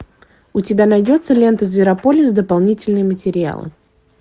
у тебя найдется лента зверополис дополнительные материалы